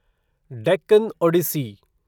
Deccan Odissi